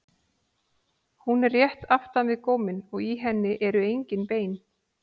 Hún er rétt aftan við góminn og í henni eru engin bein.